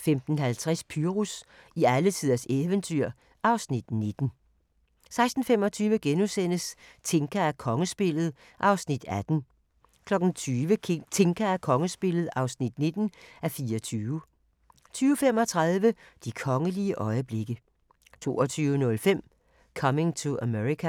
15:50: Pyrus i alletiders eventyr (Afs. 19) 16:25: Tinka og kongespillet (18:24)* 20:00: Tinka og kongespillet (19:24) 20:35: De kongelige øjeblikke 22:05: Coming to America